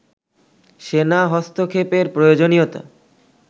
সেনা হস্তক্ষেপের প্রয়োজনীয়তা